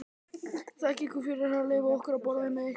Þakka ykkur fyrir að leyfa okkur að borða með ykkur.